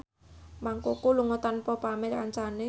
Mang Koko lunga tanpa pamit kancane